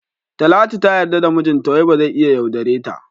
Talatu ta yarda da mijinta wai bazai iya yaudareta.